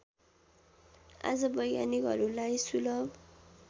आज वैज्ञानिकहरूलाई सुलभ